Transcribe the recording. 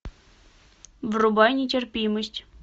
врубай нетерпимость